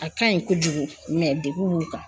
A kaɲi kojugu degun b'u kan.